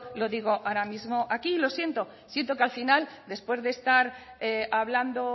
lo digo ahora mismo aquí lo siento siento que al final después de estar hablando